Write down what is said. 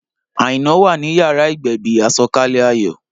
Aina wà ní yàrá ìgbẹ̀bì, àsọ̀kalẹ̀ ayọ̀